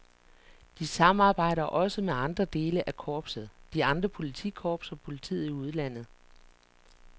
De samarbejder også med andre dele af korpset, de andre politikorps og politiet i udlandet.